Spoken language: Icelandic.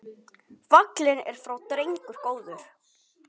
Fallinn er frá drengur góður.